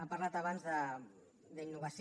ha parlat abans d’innovació